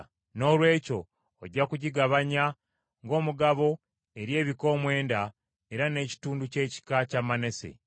Noolwekyo ojja kugigabanya ng’omugabo eri ebika omwenda era n’ekitundu ky’ekika kya Manase.”